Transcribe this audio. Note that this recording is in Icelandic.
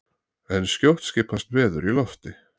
en skjótt skipast veður í lofti!